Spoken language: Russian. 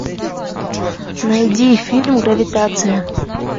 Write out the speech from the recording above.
найди фильм гравитация